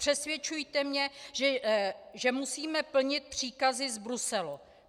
Nepřesvědčujte mě, že musíme plnit příkazy z Bruselu.